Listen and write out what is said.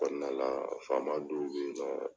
Kɔnɔna la faama dɔw be yen nɔ